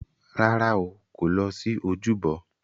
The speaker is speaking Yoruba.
Rárá o, kò lọ sí ojúbọ.